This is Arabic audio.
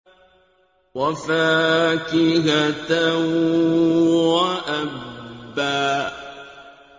وَفَاكِهَةً وَأَبًّا